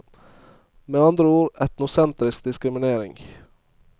Med andre ord, etnosentrisk diskriminering.